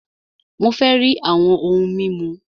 Mó fẹ rí àwọn òhún mímu!